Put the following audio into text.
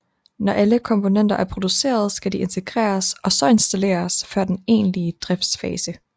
Når alle komponenter er produceret skal de integreres og så installeres før den egentlige driftsfase